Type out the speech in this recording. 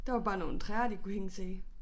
Der var bare nogle træer de kunne hænge sig i